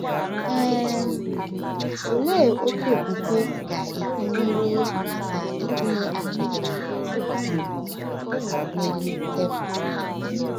um Olee otú okwukwe ga-esi nyere aka itinye achịcha um n’elu tebụl?